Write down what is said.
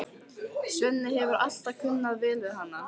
Svenni hefur alltaf kunnað vel við hana.